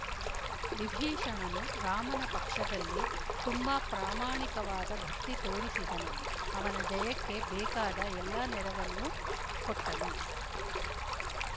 ವಿಭೀಷಣನು ರಾಮನ ಪಕ್ಷದಲ್ಲಿ ತುಂಬಾ ಪ್ರಾಮಾಣಿಕವಾದ ಭಕ್ತಿ ತೋರಿಸಿದನು ಅವನ ಜಯಕ್ಕೆ ಬೇಕಾದ ಎಲ್ಲ ನೆರವನ್ನೂ ಕೊಟ್ಟನು